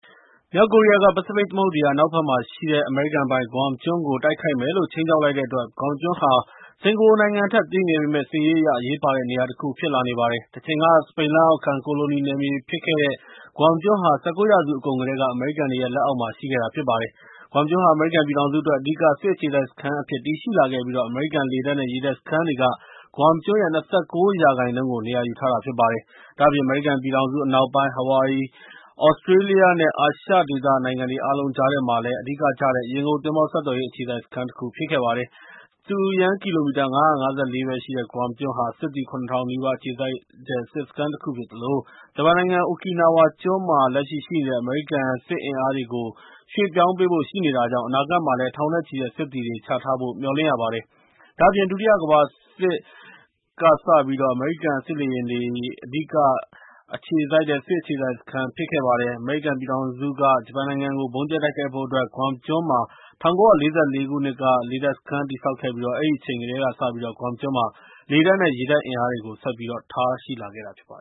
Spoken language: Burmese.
မြောက်ကိုရီးယားက ပစိဖိတ်သမုဒ္ဒရာ အနောက်ဘက်မှာရှိတဲ့ အမေရိကန်ပိုင် Guam ကျွန်းကို တိုက်ခိုက်မယ်လို့ ခြိမ်းခြောက် လိုက်တဲ့အတွက်၊ Guam ကျွန်းဟာ စင်ကာပူနိုင်ငံထက်သေးငယ်ပေမယ့်၊ စစ်ရေးအရ အရေးပါတဲ့ နေရာတခုဖြစ်လာနေပါတယ်။ တချိန်က စပိန်လက်အောက်ခံ ကိုလိုနီနယ်မြေဖြစ်ခဲ့တဲ့ Guam ကျွန်းဟာ ၊ ၁၉ ရာစုအကုန်ကတည်းက အမေရိကန်တွေ လက်အောက်မှာ ရှိခဲ့တာဖြစ်ပါတယ်။ Guam ကျွန်းဟာ အမေရိကန်ပြည်ထောင်စုအတွက် အဓိက စစ်အခြေစိုက်စခန်းအဖြစ်တည်ရှိလာခဲ့ပြီး၊ အမေရိကန်လေတပ်နဲ့ ရေတပ်စခန်းတွေက Guam ကျွန်းရဲ့ ၂၉ ရာခိုင်နှုန်းကို နေရာယူထားတာဖြစ်ပါတယ်။ ဒါ့အပြင် အမေရိကန်ပြည်ထောင်စု အနောက်ပိုင်း၊ ဟာဝါရီ၊ သြစတြေးလျ နဲ့ အာရှဒေသနိုင်ငံတွေ အားလုံးကြားထဲမှာရှိတဲ့ အဓိကကျတဲ့ ရေငုပ်သင်္ဘောဆက်သွယ်ရေး အခြေစိုက်စခန်းဖြစ်ပါတယ်။ စတုရန်းကီလိုမီတာ ၅၅၄ ပဲရှိတဲ့ Guam ကျွန်းဟာ ၊ စစ်သည် ၇၀၀၀ နီးပါးအခြေစိုက်တဲ့ စစ်စခန်းတခုဖြစ်သလို၊ ဂျပန်နိုင်ငံ အိုကီနာဝါကျွန်းပေါ်မှာ လက်ရှိရှိနေတဲ့ အမေရိကန်စစ်အင်းအားတွေကို ရွှေ့ပြောင်းပေးဖို့ှိရှိနေတာကြောင့် အနာဂတ်မှာ ထောင်နဲ့ချီတဲ့ စစ်သည်တွေ ချထားဖို့လည်း မျှော်လင့်ရပါတယ်။ ဒါ့အပြင် ဒုတိယကမ္ဘာစစ်ကစပြီး၊ အမေရိကန်စစ်လေယာဉ်တွေအတွက် အဓိကကျတဲ့စစ်အခြေစိုက်စခန်းဖြစ်ခဲ့ပါတယ်။ အမေရိကန်ပြည်ထောင်စုက ဂျပန်နိုင်ငံကို ဗုံးကျဲတိုက်ခိုက်ဖို့အတွက် Guam ကျွန်းမှာ ၁၉၄၄ ခုနှစ်က လေတပ်စခန်းတည်ဆောက်ခဲ့ပြီး၊ အဲဒီအချိန်ကတည်းကစပြီး Guam ကျွန်းမှာ လေတပ်နဲ့ ရေတပ်အင်အားတွေကို ဆက်ပြိး ထားရှိလာခဲ့တာဖြစ်ပါတ